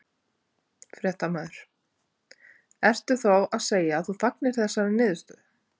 Fréttamaður: Ertu þá að segja að þú fagnir þessari niðurstöðu?